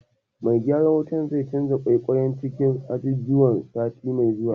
Mai gyaran wutar zai canja ƙwaiƙwayen cikin ajujuwan sati mai zuwa.